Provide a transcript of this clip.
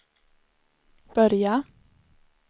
börja